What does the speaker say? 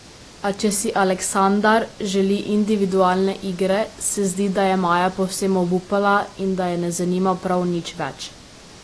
A če si Aleksandar želi individualne igre, se zdi, da je Maja povsem obupala in da je ne zanima prav nič več.